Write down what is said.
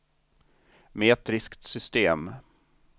metriskt system